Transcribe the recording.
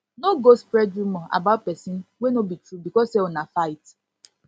no go spread rumor about pesin wey wey no be true becos say una fight